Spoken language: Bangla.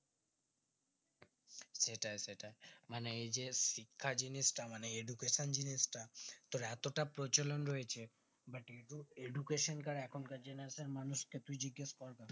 সেটাই সেটাই মানে এইযে শিক্ষা জিনিসটা মানে education জিনিসটা তোর এতটা প্রচলন রয়েছে but উ education টার এখন কার generation এর মানুষ কে তুই যদি একটা